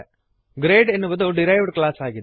grade ಎನ್ನುವುದು derived class ಆಗಿದೆ